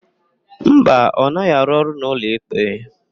Mba, ọ naghị arụ ọrụ n'ụlọikpe.